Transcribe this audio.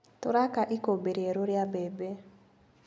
Tũraka ikũmbĩ rierũ ria mbembe.